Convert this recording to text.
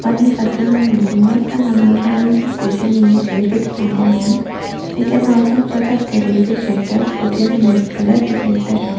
one is working on building one and another one is sitting in a chair with holding hands they can also there is also a shutter which is in red color beside the shop.